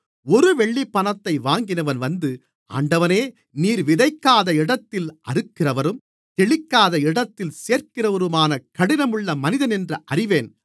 ஒரு வெள்ளிப்பணத்தை வாங்கினவன் வந்து ஆண்டவனே நீர் விதைக்காத இடத்தில் அறுக்கிறவரும் தெளிக்காத இடத்தில் சேர்க்கிறவருமான கடினமுள்ள மனிதன் என்று அறிவேன்